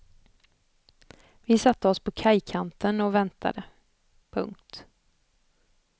Vi satte oss på kajkanten och väntade. punkt